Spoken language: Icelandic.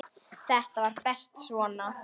Þetta var best svona.